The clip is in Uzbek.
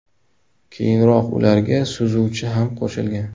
Keyinroq ularga suzuvchi ham qo‘shilgan.